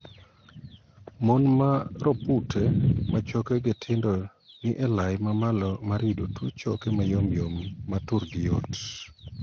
Mon ma ropute ma chokegi tindo ni elai ma malo mar yudo tuo choke mayomyom ma turgi yot.